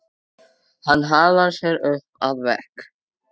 Hann hallar sér upp að vegg.